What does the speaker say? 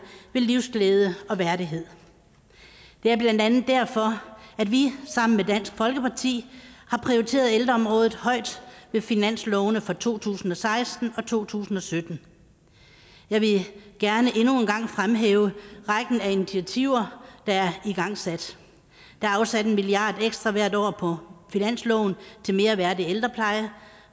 ved livsglæde og værdighed det er blandt andet derfor at vi sammen med dansk folkeparti har prioriteret ældreområdet højt i finanslovene for to tusind og seksten og to tusind og sytten jeg vil gerne endnu en gang fremhæve rækken af initiativer der er igangsat der er afsat en milliard ekstra hvert år på finansloven til mere værdig ældrepleje